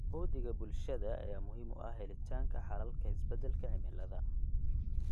Uhdhigga bulshada ayaa muhiim u ah helitaanka xalalka isbedelka cimilada.